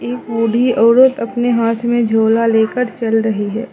एक बूढी औरत अपने हाथ में झूला लेकर चल रही है।